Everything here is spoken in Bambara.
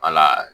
Wala